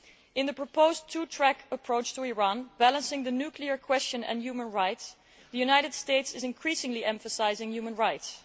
In the proposed two track approach to Iran, balancing the nuclear question and human rights, the United States is increasingly emphasising human rights.